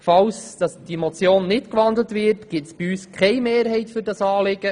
Falls diese Motion nicht gewandelt wird, gibt es bei uns keine Mehrheit für dieses Anliegen.